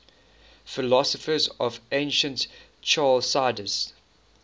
philosophers of ancient chalcidice